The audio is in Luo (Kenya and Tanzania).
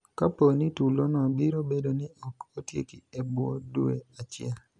kapo ni tulo no biro bedo ni ok otieki e bwo dwe achiel